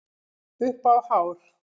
Upp á hár